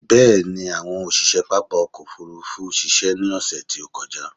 Bẹ̀ẹ̀ni, àwọn òṣiṣe pápá ọkò òfurufú ṣiṣẹ́ ní ọsẹ̀ tí ó kọjá.